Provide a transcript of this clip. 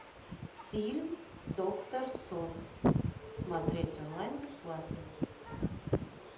фильм доктор сон смотреть онлайн бесплатно